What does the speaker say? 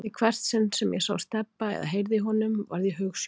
Í hvert sinn sem ég sá Stebba eða heyrði í honum varð ég hugsjúkur.